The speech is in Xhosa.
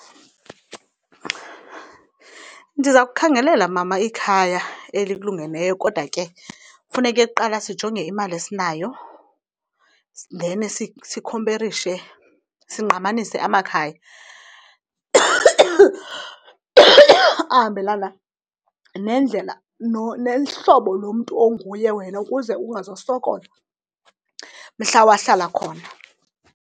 Ndiza kukhangelela, mama, ikhaya elikulungeleyo. Kodwa ke funeke kuqala sijonge imali esinayo and then sikhomperishe, singqamanise amakhaya ahambelana nendlela nohlobo lomntu onguye wena ukuze ungazosokola mhla wahlala khona.